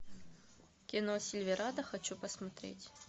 кино сильверадо хочу посмотреть